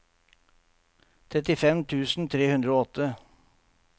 trettifem tusen tre hundre og åtte